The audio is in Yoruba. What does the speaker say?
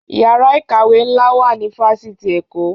Yàrá ìkàwé ńlá kan wà ní Fáṣitì Èkó